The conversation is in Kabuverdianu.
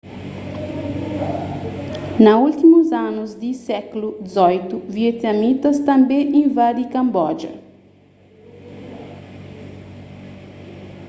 na últimus anu di sékulu xviii vietnamitas tanbê invadi kanboja